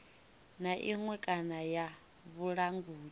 na iṅwe kana ya vhulanguli